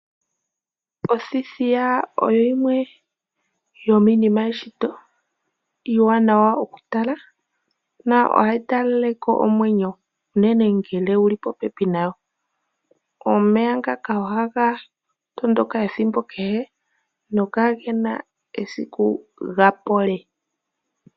Othithiya oyo yimwe yo miinima yeshito iiwanawa oku tala na ohayi talaleke omwenyo unene ngele wuli popepi nayo. Omeya ngaka ohaga tondoka ethimbo kehe no kagena esiku ga pole.